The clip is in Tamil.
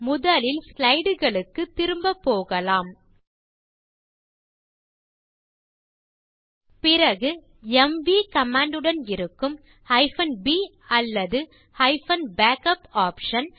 முதலில் ஸ்லைடு களுக்குத் திரும்ப போகலாம் பிறகு எம்வி கமாண்ட் உடன் இருக்கும் b அல்லது -backup ஆப்ஷன்